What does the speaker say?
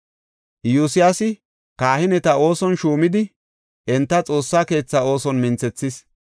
Iyosyaasi kahineta ooson shuumidi, enta Xoossa keetha ooson minthethis.